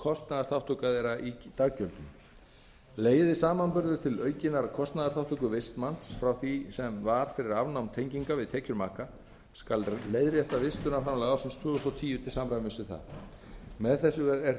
kostnaðarþátttaka þeirra í daggjöldum leiði samanburður til aukinnar kostnaðarþátttöku vistmanns frá því sem var fyrir afnám tenginga við tekjur maka skal leiðrétta vistunarframlag ársins tvö þúsund og tíu til samræmis við það með þessu er